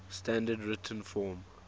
standard written form